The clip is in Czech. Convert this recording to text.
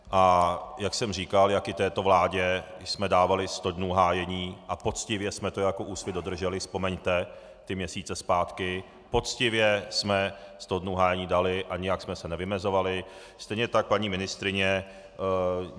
A jak jsem říkal, jak i této vládě jsme dávali sto dnů hájení a poctivě jsme to jako Úsvit dodrželi, vzpomeňte ty měsíce zpátky, poctivě jsme sto dnů hájení dali a nijak jsme se nevymezovali, stejně tak paní ministryni.